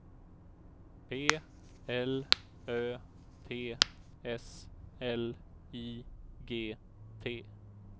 P L Ö T S L I G T